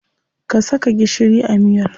Ka saka gishiri a miyar.